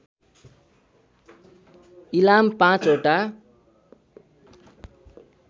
इलाम ५ वटा